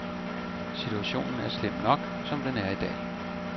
Situationen er slem nok, som den er i dag.